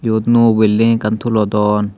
yot nuo building ekkan tulodon.